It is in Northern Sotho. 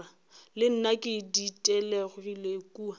le nna ke ditelegile kua